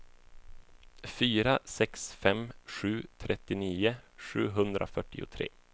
fyra sex fem sju trettionio sjuhundrafyrtiotre